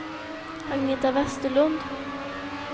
Agneta Westerlund